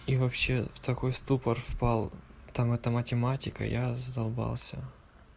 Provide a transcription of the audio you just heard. и вообще в такой ступор впал там это математика я задолбался